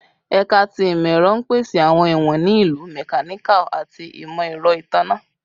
Ẹka ti Imọ-ẹrọ n pese awọn iwọn ni Ilu, Mechanical, ati Imọ-ẹrọ Itanna